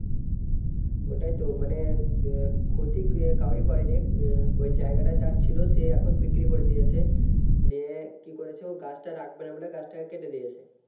ওটাই তো মানে এ ক্ষতি কাউরির করেনি ওই জায়গা টা যার ছিল সে এখন বিক্রি করে দিয়েছে দিয়ে কি করেছে ও গাছটা রাখবে না মানে গাছটা কে কেটে দিয়েছে